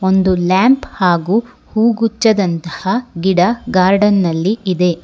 ಒಂದು ಲ್ಯಾಂಪ್ ಹಾಗು ಹೂ ಗುಚ್ಛದಂತಹ ಗಿಡ ಗಾರ್ಡನ್ ನಲ್ಲಿ ಇದೆ.